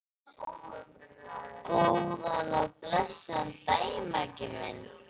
Góðan og blessaðan daginn, Maggi minn.